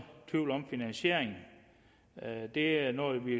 tvivl om finansieringen det er noget vi